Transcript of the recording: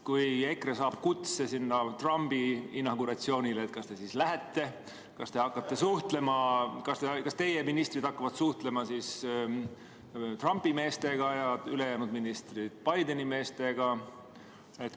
Kui EKRE saab kutse Trumpi inauguratsioonile, kas te siis lähete ja kas te hakkate suhtlema ning kas teie ministrid hakkavad suhtlema Trumpi meestega ja ülejäänud ministrid Bideni meestega?